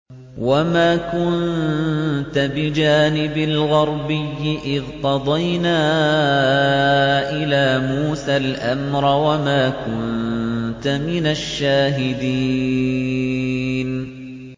وَمَا كُنتَ بِجَانِبِ الْغَرْبِيِّ إِذْ قَضَيْنَا إِلَىٰ مُوسَى الْأَمْرَ وَمَا كُنتَ مِنَ الشَّاهِدِينَ